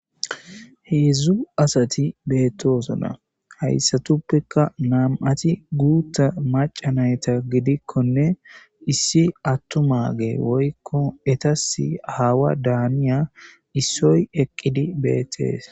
heedzdzu asati beettosona hayssatuppeka nam'ati guutta maca nayta gidikkonne issi attumage woykko etasi aawa daaniya issoy eqqidi beettees